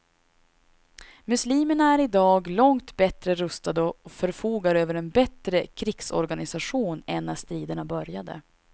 Muslimerna är i dag långt bättre rustade och förfogar över en bättre krigsorganisation än när striderna började.